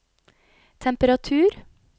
temperatur